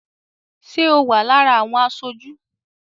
Ṣé o wà lára àwọn aṣojú?